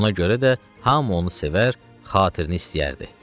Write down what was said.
Ona görə də hamı onu sevər, xatirini istəyərdi.